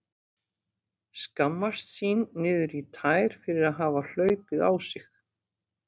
Skammast sín niður í tær fyrir að hafa hlaupið á sig.